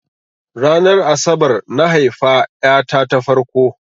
Ranar asabar na haifa ƴa ta ta farko.